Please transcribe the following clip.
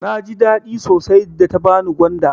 Naji daɗi sosai da ta bani gwanda.